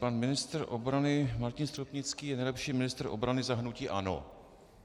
Pan ministr obrany Martin Stropnický je nejlepší ministr obrany za hnutí ANO.